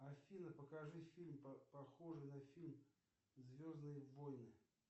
афина покажи фильм похожий на фильм звездные войны